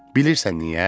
Bilirsən niyə?